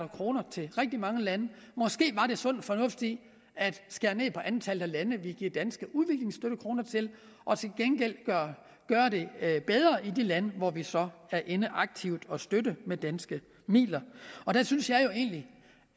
kroner til rigtig mange lande måske var der sund fornuft i at skære ned på antallet af lande vi giver danske udviklingsstøttekroner til og til gengæld gøre det bedre i de lande hvor vi så er inde aktivt at støtte med danske midler der synes jeg jo egentlig